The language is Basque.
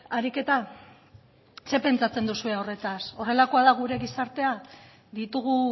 ariketa zer pentsatzen duzue horretaz horrelakoa da gure gizartea ditugu